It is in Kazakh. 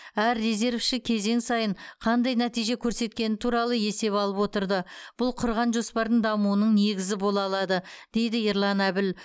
әр резервші кезең сайын қандай нәтиже көрсеткені туралы есеп алып отырды бұл құрған жоспардың дамуының негізі бола алады дейді ерлан әбіл